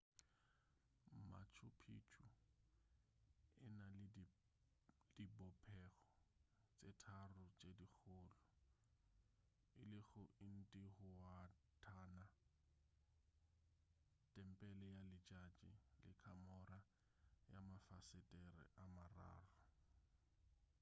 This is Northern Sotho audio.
machu picchu e na le dibopego tše tharo tše dikgolo e lego intihuatana tempele ya letšatši le kamora ya mafasetere a mararo